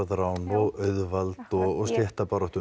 arðrán og auðvald og stéttabaráttu